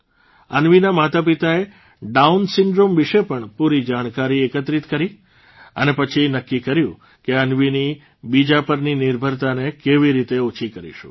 અન્વીના માતાપિતાએ Down syndrome વિશે પણ પૂરી જાણકારી એકત્રિત કરી અને પછી નક્કી કર્યું કે અન્વીની બીજા પરની નિર્ભરતાને કેવી રીતે ઓછી કરીશું